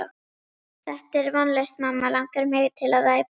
Þetta er vonlaust mamma langar mig til að æpa.